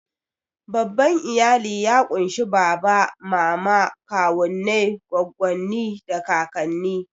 Babban iyali ya ƙunshi baba, mama, kawunnai, goggonni, da kakanni.